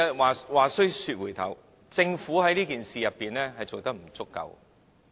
話須說回頭，政府在這件事上做得不足夠。